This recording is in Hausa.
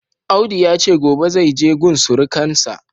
Audu yace gobe zaije gun surukansa.